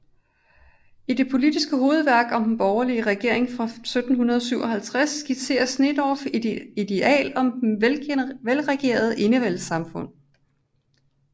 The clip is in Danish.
I det politiske hovedværk Om den borgerlige Regiering fra 1757 skitserer Sneedorff et ideal om det velregerede enevældesamfund